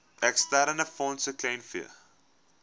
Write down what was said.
eksterne fondse kleinvee